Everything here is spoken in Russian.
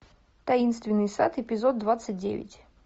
таинственный сад эпизод двадцать девять